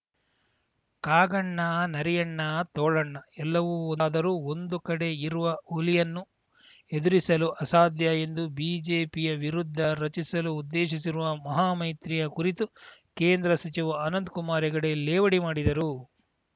ಕಾಗಣ್ಣ ನರಿಯಣ್ಣ ತೋಳಣ್ಣ ಎಲ್ಲವೂ ಒಂದಾದರೂ ಒಂದು ಕಡೆ ಇರುವ ಹುಲಿಯನ್ನು ಎದುರಿಸಲು ಅಸಾಧ್ಯ ಎಂದು ಬಿಜೆಪಿಯ ವಿರುದ್ಧ ರಚಿಸಲು ಉದ್ದೇಶಿಸಿರುವ ಮಹಾಮೈತ್ರಿಯ ಕುರಿತು ಕೇಂದ್ರ ಸಚಿವ ಅನಂತ್ ಕುಮಾರ ಹೆಗಡೆ ಲೇವಡಿ ಮಾಡಿದರು